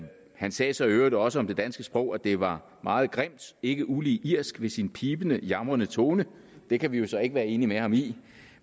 han sagde så i øvrigt også om det danske sprog at det var meget grimt ikke ulig irsk ved sin pibende jamrende tone det kan vi så ikke være enig med ham i